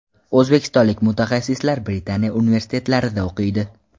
O‘zbekistonlik mutaxassislar Britaniya universitetlarida o‘qiydi.